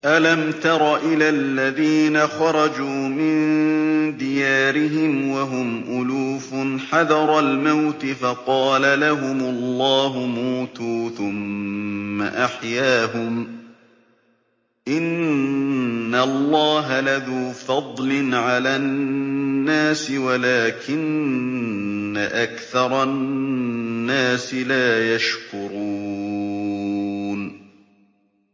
۞ أَلَمْ تَرَ إِلَى الَّذِينَ خَرَجُوا مِن دِيَارِهِمْ وَهُمْ أُلُوفٌ حَذَرَ الْمَوْتِ فَقَالَ لَهُمُ اللَّهُ مُوتُوا ثُمَّ أَحْيَاهُمْ ۚ إِنَّ اللَّهَ لَذُو فَضْلٍ عَلَى النَّاسِ وَلَٰكِنَّ أَكْثَرَ النَّاسِ لَا يَشْكُرُونَ